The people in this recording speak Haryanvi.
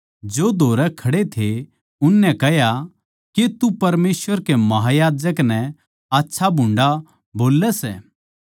जो धोरै खड़े थे उननै कह्या के तू परमेसवर कै महायाजक नै आच्छाभुंडा बोल्लै सै